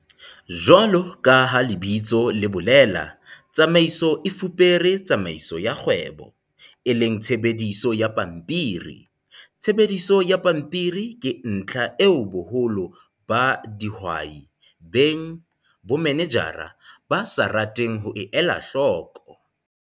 JWALO KA HA LEBITSO LE BOLELA, TSAMAISO E FUPERE TSAMAISO YA KGWEBO, E LENG TSHEBEDISO YA PAMPIRI. TSHEBEDISO YA PAMPIRI KE NTLHA EO BOHOLO BA DIHWAI-BENG-BOMANEJARA BA SA RATENG HO E ELA HLOKO.